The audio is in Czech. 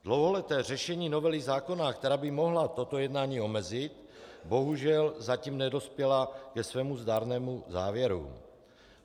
Dlouholeté řešení novely zákona, která by mohla toto jednání omezit, bohužel zatím nedospělo ke svému zdárnému závěru.